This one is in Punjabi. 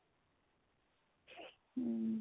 hm